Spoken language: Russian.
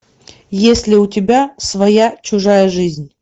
есть ли у тебя своя чужая жизнь